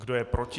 Kdo je proti?